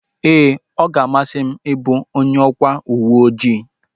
Ee, ọ ga-amasị m ị bụ onye ji ọkwa uweojii